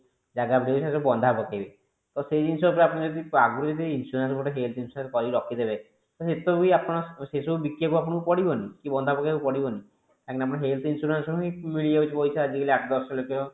ଜାଗା ଫଗା ସବୁ ବନ୍ଧା ପକେଇବେ ତ ସେଇ ଜିନିଷ ଆପଣ ଯଦି ଆଗରୁ ଯଦି insurance ଗୋଟେ health insurance କରିକି ରଖି ଦେବେ ସେସବୁ ବି ଆପଣ ସେସବୁ ବିକିବାକୁ ଆପଣଙ୍କୁ ପଡିବନି କି ବନ୍ଧା ପକେଇବାକୁ ପଡିବନି କାହିଁକି ନା ଆପଣ health insurance ରୁ ହିଁ ମିଳିଯାଉଛି ପଇସା ଆଜି କାଲି ଆଠ ଦଶ ଲକ୍ଷ